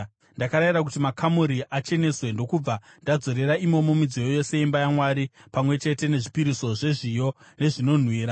Ndakarayira kuti makamuri acheneswe, ndokubva ndadzorera imomo midziyo yose yeimba yaMwari, pamwe chete nezvipiriso zvezviyo nezvinonhuhwira.